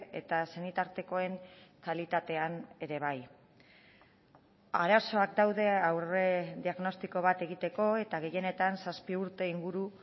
eta senitartekoen kalitatean ere bai arazoak daude aurrediagnostiko bat egiteko eta gehienetan zazpi urte inguru